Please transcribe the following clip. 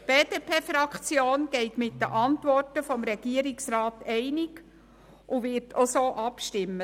Die BDP-Fraktion geht mit den Antworten des Regierungsrats einig und wird entsprechend abstimmen: